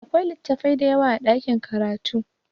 Akwai littafai dayawa a ɗakin karatu